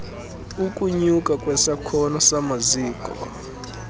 ukunyuka kwesakhono samaziko